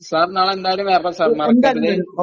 sir നാളെ എന്തായാലും വരണം സാർ, മറക്കരുതേ..